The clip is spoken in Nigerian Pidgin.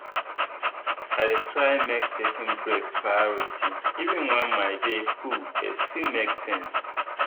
i dey try make taking breaks priority even when my day full e still make sense.